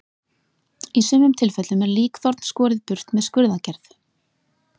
Í sumum tilfellum er líkþorn skorið burt með skurðaðgerð.